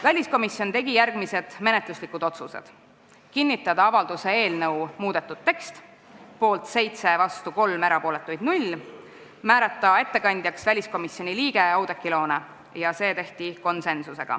Väliskomisjon tegi järgmised menetluslikud otsused: kinnitada avalduse eelnõu muudetud tekst ja määrata ettekandjaks väliskomisjoni liige Oudekki Loone .